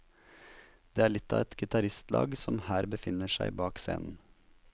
Det er litt av et gitaristlag som her befinner seg bak scenen.